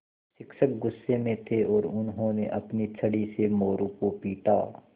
शिक्षक गुस्से में थे और उन्होंने अपनी छड़ी से मोरू को पीटा